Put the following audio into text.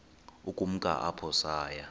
ukumka apho saya